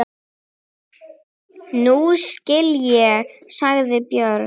Nú skil ég, sagði Björg.